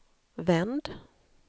vänd